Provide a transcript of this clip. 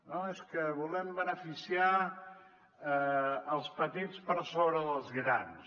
no és que volem beneficiar els petits per sobre dels grans